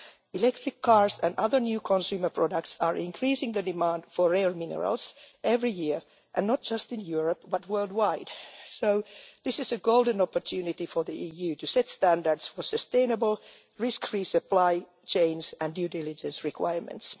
Electric cars and other new consumer products are increasing the demand for rare minerals every year and not just in Europe, but worldwide, so this is a golden opportunity for the EU to set standards for sustainable risk free supply chains and due diligence requirements.